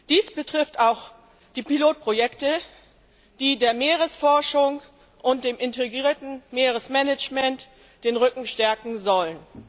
Dies betrifft auch die Pilotprojekte, die der Meeresforschung und dem integrierten Meeresmanagement den Rücken stärken sollen.